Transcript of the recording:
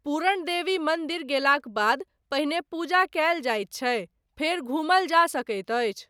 पूरणदेवी मन्दिर गेलाक बाद पहिने पूजा कयल जाइत छै फेर घुमल जा सकैत अछि।